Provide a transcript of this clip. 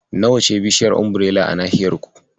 Nawa ce bishaiyar Umbirela a nahiyar ku?